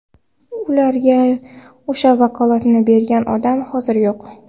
Ularga o‘sha vakolatni bergan odam hozir yo‘q.